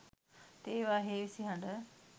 තේවා හේවිසි හඬ